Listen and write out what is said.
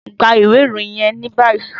Gba iwe iroyin yẹn ni bayi!